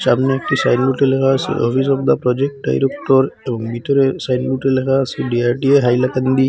সামনে একটি সাইন বোর্ডে লেখা আসে অফিস দা প্রজেক্ট ডাইরক্টর এবং ভিতরের সাইন বোর্ডে লেখা আসে ডি_আর_ডি_এ হাইলাকান্দি।